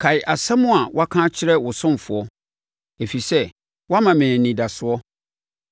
Kae asɛm a woaka akyerɛ wo ɔsomfoɔ, ɛfiri sɛ woama me anidasoɔ.